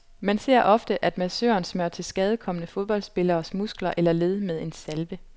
Man ser ofte, at massøren smører tilskadekomne fodboldspilleres muskler eller led med en salve.